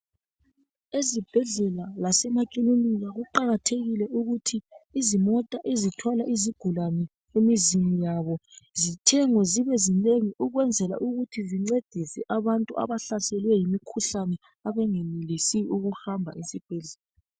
Ezibhedlela lasemakilinika kuqakathekile ukuthi izimota ezithwala izigulane emizini yabo zithengwe zibezinengi ukwenzela ukuthi zincedise abantu abahlaselwe yimikhuhlane abangenelisi ukuhamba esibhedlela